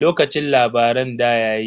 Lokacin labaran ɗa yayi.